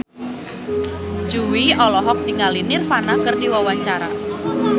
Jui olohok ningali Nirvana keur diwawancara